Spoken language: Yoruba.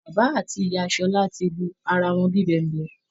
Bàbà àti ìyá Ṣọlá ti lu ara wọn bí i bẹ̀ǹbẹ́